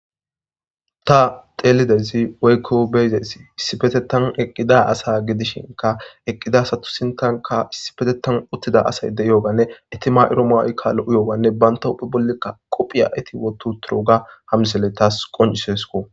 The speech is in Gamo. Ta teelidezi weykko beyzes issifetetan eqqida asa gidishinka eqqida asatusintanka issibetetan uttida asay de iyooganne itima7iro mawykkalo7u yooganne banta huphe bollikka qophiya iti wottu turuga hamliselle taas qoncisesko.